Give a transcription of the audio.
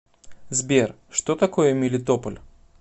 сбер что такое мелитополь